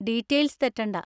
Details തെറ്റണ്ട.